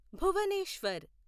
Bhubaneswar